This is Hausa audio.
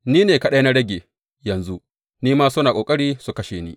Ni ne kaɗai na rage, yanzu, ni ma suna ƙoƙari su kashe ni.